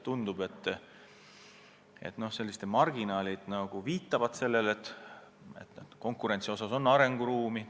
Tundub, et teatud marginaalid viitavad sellele, et konkurentsi vallas on arenguruumi.